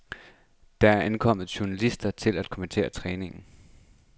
Der er ankommet journalister til at kommentere træningen.